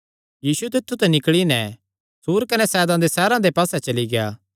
यीशु तित्थु ते निकल़ी नैं सूर कने सैदा दे सैहरां दे पास्से चली गेआ